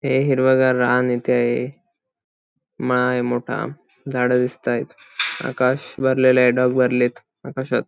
हे हिरव गार रान इथ आहे माळ आहे मोठा झाड दिसतायेत आकाश भरलेल ये ढग भरलेत आकाशात.